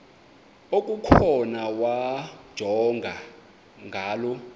okukhona wamjongay ngaloo